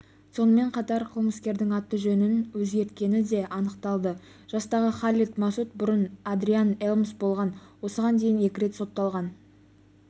сонымен қатар қылмыскердің аты-жөнін өзгерткені де анықталды жастағы халед масуд бұрын адриан элмс болған осыған дейін екі рет сотталған